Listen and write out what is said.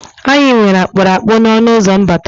Anyị nwere akpụrụakpụ n' ọnụụzọ mbata.